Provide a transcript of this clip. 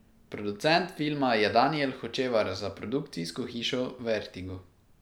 Producent filma je Danijel Hočevar za produkcijsko hišo Vertigo.